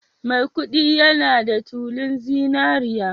Maikudi yana da tulun zinariya